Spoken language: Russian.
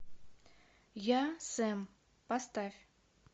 я сэм поставь